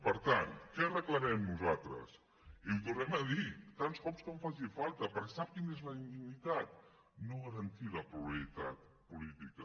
per tant què reclamem nosaltres i ho tornarem a dir tants cops com faci falta perquè sap quina és la indignitat no garantir la pluralitat política